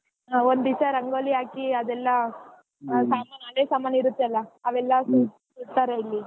ಒಂದ್ ದಿವಸಾ ರಂಗೋಲಿ ಹಾಕಿ ಅದೆಲ್ಲಾ ಸಾಮಾನ್ ಹಳೆ ಸಾಮಾನ್ ಇರತ್ತಲಾ ಅವೆಲ್ಲಾ ಇಲ್ಲಿ.